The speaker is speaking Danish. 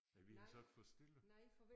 Ja vi har siddet for stille